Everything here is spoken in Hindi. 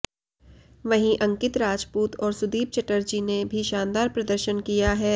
वहीं अंकित राजपूत और सुदीप चटर्जी ने भी शानदार प्रदर्शन किया है